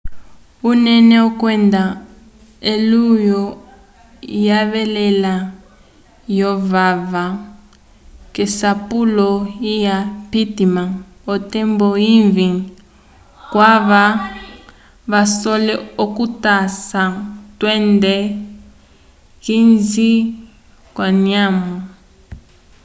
unene kwenda elulwo lyevala lyovava k'esapulo lya pittman otembo ivĩ kwava vasole okutasa tunde 15 k'anyamo